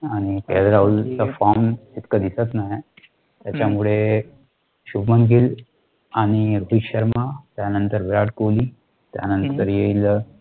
आणि K. L. राहुलचा form इतका दिसत नाही, त्याच्यामुळे, शुभम गिल, आणि अतिक शर्मा, त्यानंतर विराट कोहली, त्यानंतर येईल.